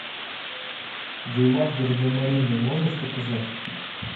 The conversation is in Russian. виват гардемарины можешь показать